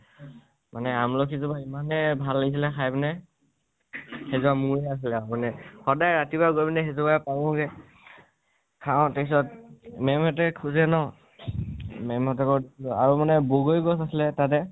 মানে আমলখি জোপা এমানেই ভাল লাগিছিল খাই পিনে, সেইজোপা মোৰ হে আছিল মানে । সদায় ৰাতিপোৱা গৈ পেলাই সেইজোপা পাওঁ গে, খাও তাৰপিচত মে'ম হতে খুজে ন। মে'ম হতৰ ঘৰত আৰু মানে বগৰী গছ আছিলে তাতে